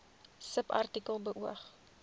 subartikel beoog